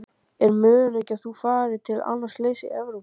Er möguleiki að þú farir til annars liðs eftir Evrópumótið?